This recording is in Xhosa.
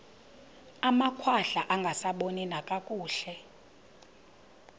amakhwahla angasaboni nakakuhle